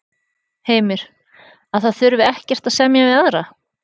Heimir: Að það þurfi ekkert að semja við aðra?